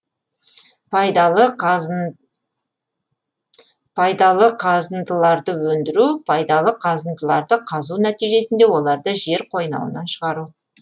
пайдалы қазындыларды өндіру пайдалы қазындыларды қазу нәтижесінде оларды жер қойнауынан шығару